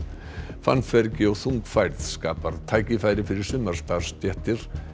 fannfergi og þung færð skapar tækifæri fyrir sumar starfsstéttir